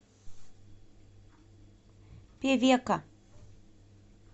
певека